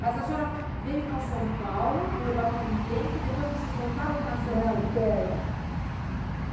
Mas a senhora veio para São Paulo, morou aqui um tempo, depois vocês voltaram para Santos... Não, espera.